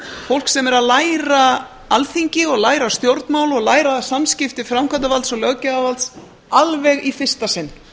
fólk sem er að læra alþingi og læra stjórnmál og læra samskipti framkvæmdarvalds og löggjafarvalds alveg í fyrsta sinn